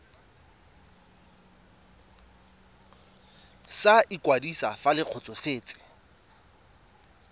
sa ikwadiso fa le kgotsofetse